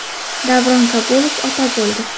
Davron Kabulov ota bo‘ldi.